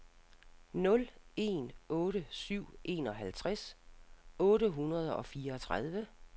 nul en otte syv enoghalvtreds otte hundrede og fireogtredive